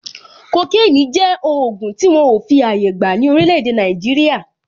Kokénì jẹ́ ògùn tí wọn ò fi àyè gbà ní orílè èdè Nàìjíríà.